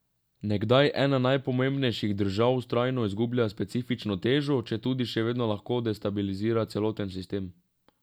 Nekdaj ena najpomembnejših držav vztrajno izgublja specifično težo, četudi še vedno lahko destabilizira celoten sistem.